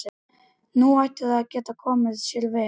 Nú ætti það að geta komið sér vel.